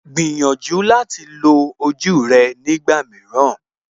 Gbìyànjú láti lo ojú rẹ nígbà mìíràn